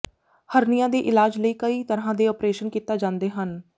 ਹਰਨੀਆਂ ਦੇ ਇਲਾਜ ਲਈ ਕਈ ਤਰ੍ਹਾਂ ਦੇ ਆਪਰੇਸ਼ਨ ਕੀਤਾ ਜਾਂਦੇ ਹਨ